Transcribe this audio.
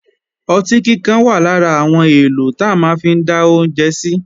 Ọtí kíkan wà lára àwọn èlò ta máa ń fi dá oúnjẹ sí